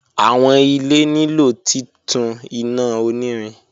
Awọn ile nilo titun ina onirin